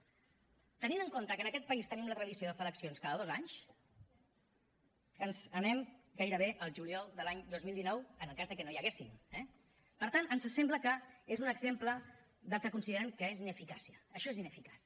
tenint en compte que en aquest país tenim la tradició de fer eleccions cada dos anys ens n’anem gairebé al juliol de l’any dos mil dinou en el cas de que no n’hi haguessin eh per tant ens sembla que és un exemple del que considerem que és ineficàcia això és ineficaç